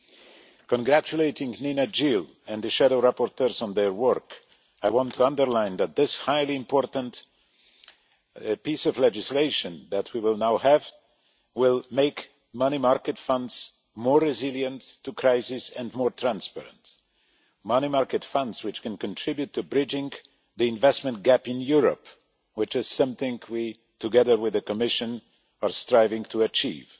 In congratulating Neena Gill and the shadow rapporteurs on their work, I want to underline that this highly important piece of legislation that we will now have will make money market funds more resilient to crisis and more transparent, money market funds which can contribute to bridging the investment gap in Europe which is something we, together with the Commission, are striving to achieve.